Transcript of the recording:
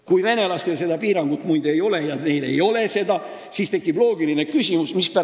Kui venelastel seda piirangut ei ole, siis tekib loogiline küsimus, kas meile on see konventsioon vajalik või mitte.